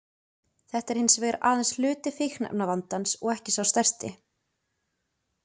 Þetta er hins vegar aðeins hluti fíkniefnavandans og ekki sá stærsti.